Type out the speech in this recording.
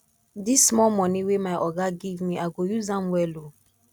dis small moni wey my oga give me i go use am well o